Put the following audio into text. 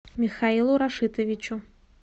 михаилу рашитовичу